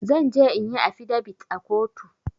Zanje inyi afidabit a kotu